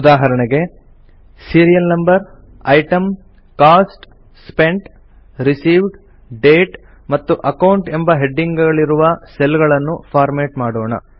ಉದಾಹರಣೆಗೆ serial number item cost spent received date ಮತ್ತು account ಎಂಬ ಹೆಡ್ಡಿಂಗ್ ಗಳಿರುವ ಸೆಲ್ ಗಳನ್ನು ಫಾರ್ಮ್ಯಾಟ್ ಮಾಡೋಣ